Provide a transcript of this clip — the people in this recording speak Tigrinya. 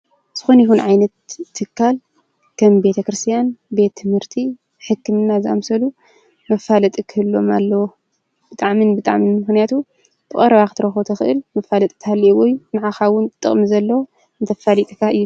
ዝኾን ይኹን ዓይነት ትካል ከም ቤተ ክርስቲያን ቤት ትምህርቲ ሕክምና ዛምሰሉ መፋለጢ ክህልዎም ኣለዎ። ብጣዕሚን ብጣዕምን ምኽነያቱ ብቐርባ ትረኽቦ ተኽእል መፋለጥ እታልየዎይ ንዓኻ እውን ጥቕሚ ዘለዎ እንተፋልጥካ እዩ።